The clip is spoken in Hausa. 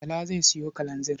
Bala zai sayo kalanzir.